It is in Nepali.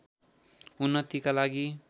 उन्नतिका लागि